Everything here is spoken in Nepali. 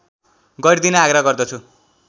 गरिदिन आग्रह गर्दछु